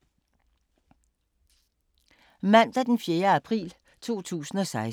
Mandag d. 4. april 2016